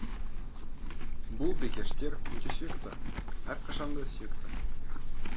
бұл бикештер өте сүйікті әрқашан да сүйікті